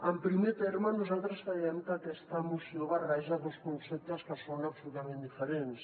en primer terme nosaltres creiem que aquesta moció barreja dos conceptes que són absolutament diferents